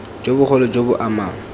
jo bogolo jo bo amang